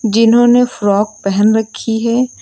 जिन्होंने फ्रॉक पहन रखी है।